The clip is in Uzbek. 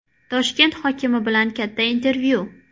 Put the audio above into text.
Toshkent hokimi bilan katta intervyu.